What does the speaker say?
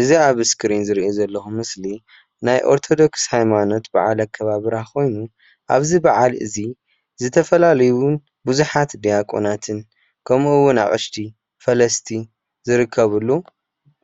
እዚ ኣብ እስክሪን ዝሪኦ ዘለኩ ምስሊ ናይ ኦርቶዶክስ ሃይማኖት በዓል ኣከባብራ ኮይኑ ኣብዚ በዓል እዚ ዝተፈላለዩ ብዙሓት ድያቆናትን ከምኡ እውን ኣቕሽቲ፣ ፈለስቲ ዝርከብሉ